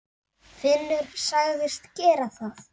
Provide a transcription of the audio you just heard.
Finnur sagðist gera það.